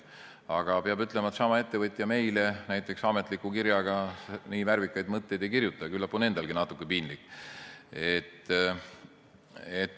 Aga peab ütlema, et seesama ettevõtja meile näiteks ametlikus kirjas nii värvikaid mõtteid ei kirjuta, küllap on endalgi natuke piinlik.